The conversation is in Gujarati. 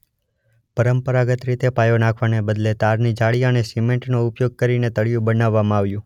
પરંપરાગત રીતે પાયો નાખવાને બદલે તારની જાળી અને સિમેન્ટ નો ઉપયોગ કરીને તળિયું બનાવવામાં આવ્યું.